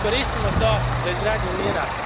Iskoristimo to za izgradnju mira.